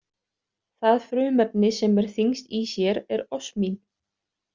Það frumefni sem er þyngst í sér er osmín.